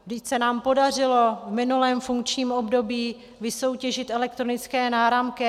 Vždyť se nám podařilo v minulém funkčním období vysoutěžit elektronické náramky.